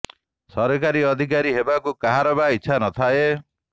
ସରକାରୀ ଅଧିକାରୀ ହେବାକୁ କାହାର ବା ଇଚ୍ଛା ନ ଥାଏ